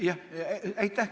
Aitäh!